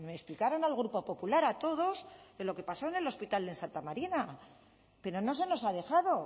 explicaran al grupo popular a todos lo que pasó en el hospital de santa marina pero no se nos ha dejado